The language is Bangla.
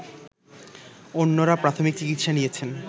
অন্যরা প্রাথমিক চিকিৎসা নিয়েছেন